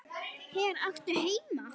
Hér áttu heima.